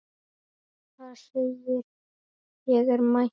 Það segir: Ég er mætt!